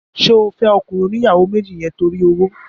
Ṣé o fẹ́ ọkùnrin oníyàwó méjì yẹn torí owó?